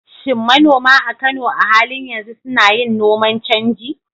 Shin manoma a Kano a halin yanzu suna yin noman canji?